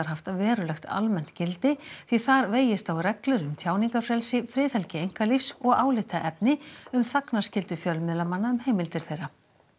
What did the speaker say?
haft verulegt almennt gildi því þar vegist á reglur um tjáningarfrelsi friðhelgi einkalífs og álitaefni um þagnarskyldu fjölmiðlamanna um heimildir þeirra